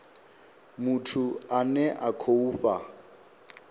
muthu ane a khou fha